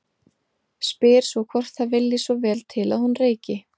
Spyr svo hvort það vilji svo vel til að hún reyki.